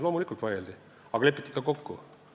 Loomulikult valitsuses vaieldi, aga lepiti ka kokku.